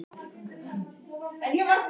Hugrún Halldórsdóttir: Berst þetta langt?